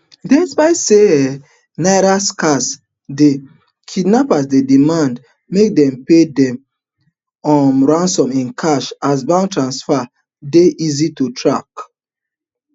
despite say um naira scarce di kidnappers dey demand make dem pay dem um ransom in cash as bank transfer dey easy to trace